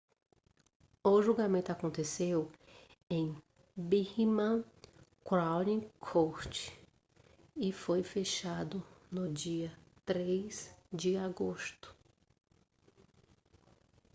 o julgamento aconteceu em birmingham crown court e foi fechado no dia 3 de agosto